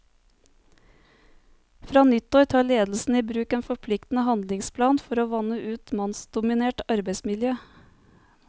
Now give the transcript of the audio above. Fra nyttår tar ledelsen i bruk en forpliktende handlingsplan for å vanne ut et mannsdominert arbeidsmiljø.